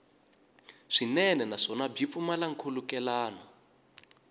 swinene naswona byi pfumala nkhulukelano